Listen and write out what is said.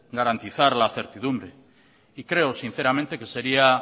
garantizar la certidumbre y creo sinceramente que sería